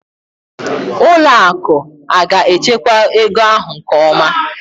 ụlọ akụ aga-echekwa ego ahụ nke ọma?